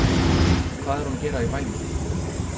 Og hvað er hún að gera í bænum?